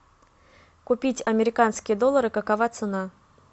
купить американские доллары какова цена